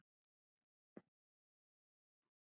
Um það segir